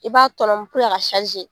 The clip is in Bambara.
I b'a tɔnɔmi